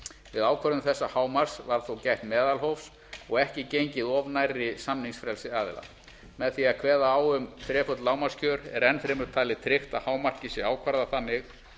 við ákvörðun þessa hámarks var þó gætt meðalhófs og ekki gengið of nærri samningsfrelsi aðila með því að kveða á um þreföld lágmarkskjör er enn fremur talið tryggt að hámarkið sé ákvarðað þannig